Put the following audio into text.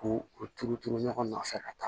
K'u u turu turu ɲɔgɔn nɔfɛ ka taa